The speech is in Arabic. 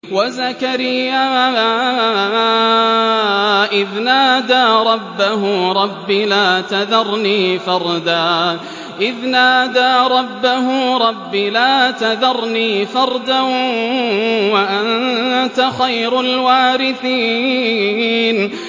وَزَكَرِيَّا إِذْ نَادَىٰ رَبَّهُ رَبِّ لَا تَذَرْنِي فَرْدًا وَأَنتَ خَيْرُ الْوَارِثِينَ